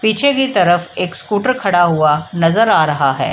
पीछे की तरफ एक स्कूटर खड़ा हुआ नजर आ रहा है।